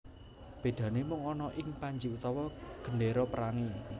Bedane mung ana ing panji utawa gendera perange